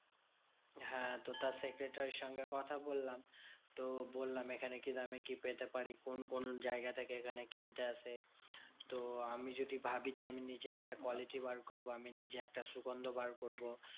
হ্যাঁ তো তার secretary র সঙ্গে কথা বললাম। তো বললাম এখানে কি দামে কি পেতে পারি? কোন কোন জায়গা থেকে এখানে কিনতে আসে? তো আমি যদি ভাবি যে, আমি নিজে একটা quality বার করবো। আমি নিজে একটা সুগন্ধ বার করবো।